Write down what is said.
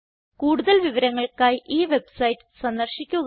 കൂടുതൽ വിവരങ്ങൾക്കായി ഈ വെബ്സൈറ്റ് സന്ദർശിക്കുക